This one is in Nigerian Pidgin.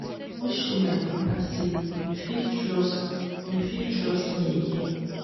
i wan show my papa sey im fit trust im fit trust me again.